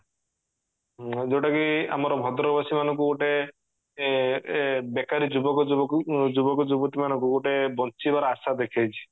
ଯୋଉଟା କି ଆମର ଭଦ୍ରକ ବାସୀ ମାନଙ୍କୁ ଗୋଟେ ଏ ଏ ବେକାରି ଯୁବକ ଯୁବକ ଯୁବକ ଯୁବତୀ ମାନଙ୍କୁ ଗୋଟେ ବଞ୍ଚିବାର ଆଶା ଦେଖେଇଛି